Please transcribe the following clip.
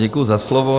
Děkuji za slovo.